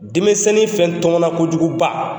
Denmisɛnni fɛn tɔmɔna kojuguba